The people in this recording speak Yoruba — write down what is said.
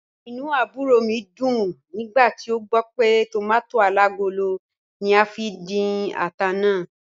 Inú àbúrò mi dùn nígbà tí ó gbọ́ pé tòmàtó alágolo ní a fi dín ata náà.